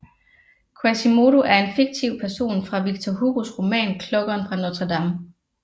Quasimodo er en fiktiv person fra Victor Hugos roman Klokkeren fra Notre Dame